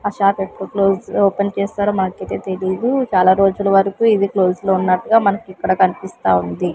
ఆ షాపు ఎప్పుడు close open చేస్తారో మనకైతే తెలీదు చాలా రోజులు వరకు ఇది క్లోజ్ లో ఉన్నట్టుగా మనకిక్కడ కనిపిస్తాఉంది.